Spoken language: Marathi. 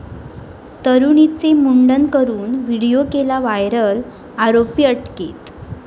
तरुणीचे मुंडन करून व्हिडिओ केला व्हायरल, आरोपी अटकेत